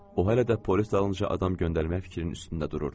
O hələ də polis dalınca adam göndərmək fikrinin üstündə dururdu.